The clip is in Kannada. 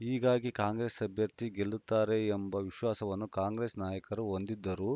ಹೀಗಾಗಿ ಕಾಂಗ್ರೆಸ್‌ ಅಭ್ಯರ್ಥಿ ಗೆಲ್ಲುತ್ತಾರೆ ಎಂಬ ವಿಶ್ವಾಸವನ್ನು ಕಾಂಗ್ರೆಸ್‌ ನಾಯಕರು ಹೊಂದಿದ್ದರೂ